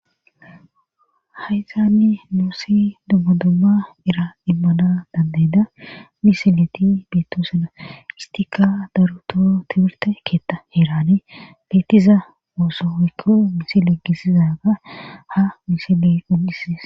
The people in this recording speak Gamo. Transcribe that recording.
hayzaanni nuusi dummadumma ira immana dandayda misileti beettosuna istika dartoho tibirte keetta heerane beettiza oosowykko misile gisizaga ha misile un7isides